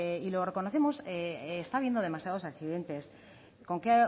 y lo reconocemos está habiendo demasiados accidentes con que